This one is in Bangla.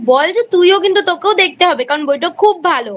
বল যে তুইও কিন্তু তোকেও দেখতে হবে কারণ বইটা খুব ভালো।